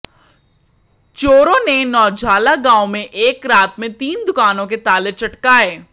चोरों ने नौजल्हा गांव में एक रात में तीन दुकानों के ताले चटकाए